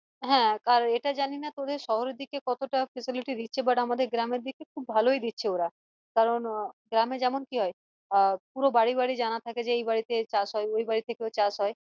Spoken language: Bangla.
হ্যাঁ আর এটা জানিনা তোদের শহরের দিকে কতটা facility দিচ্ছে but আমাদের গ্রামের দিকে খুব ভালোই দিচ্ছে ওরা কারন আহ গ্রামে যেমন কি হয় আহ পুরো বাড়ি বাড়ি জানা থাকে যে এই বাড়িতে চাষ হয় ওই বাড়িতে চাষ হয়